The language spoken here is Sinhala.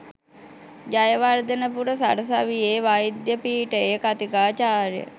ජයවර්ධනපුර සරසවියේ වෛද්‍ය පීඨයේ කථිකාචාර්ය